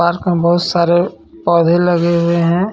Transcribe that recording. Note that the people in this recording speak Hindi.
पार्क में बहुत सारे पौधे लगे हुए हैं.